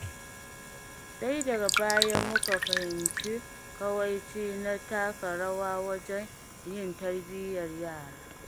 Sai daga baya muka fahimci kawaici na taka rawa wajen yin tarbiyyar yara.